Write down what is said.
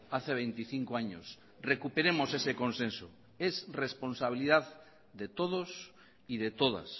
hace veinticinco años recuperemos ese consenso es responsabilidad de todos y de todas